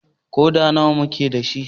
Ƙoda nawa muke da shi?